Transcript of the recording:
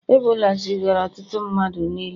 Ebola zigara ọtụtụ mmadụ n'ili